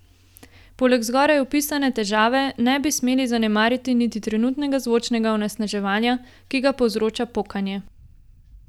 Poleg zgoraj opisane težave, ne bi smeli zanemariti niti trenutnega zvočnega onesnaževanja, ki ga povzroča pokanje.